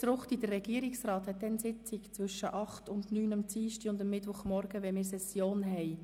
FritzRuchti, der Gesamtregierungsrat hat zum Zeitpunkt, wenn wir Session haben, also am Dienstag- und am Mittwochmorgen, Sitzung.